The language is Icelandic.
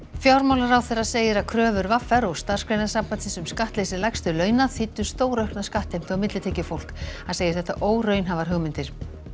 fjármálaráðherra segir að kröfur v r og Starfsgreinasambandsins um skattleysi lægstu launa þýddu stóraukna skattheimtu á millitekjufólk hann segir þetta óraunhæfar hugmyndir